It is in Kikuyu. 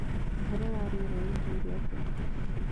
ũhoro wa rĩera uĩkaĩre atia